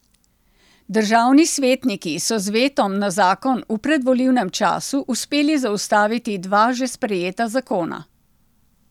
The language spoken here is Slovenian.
Državni svetniki so z vetom na zakon v predvolilnem času uspeli zaustaviti dva že sprejeta zakona.